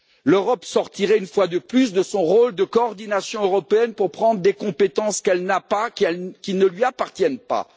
L'Europe sortirait une fois de plus de son rôle de coordination européenne pour prendre des compétences qu'elle n'a pas, qui ne lui appartiennent pas.